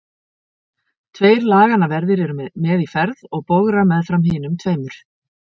Tveir laganna verðir eru með í ferð og bogra meðfram hinum tveimur.